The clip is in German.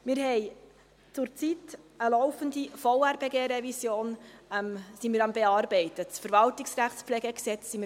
Wir haben zurzeit eine laufende Revision des Gesetzes über die Verwaltungsrechtspflege (VRPG), die wir aktuell bearbeiten.